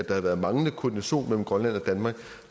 havde været manglende koordination mellem grønland og danmark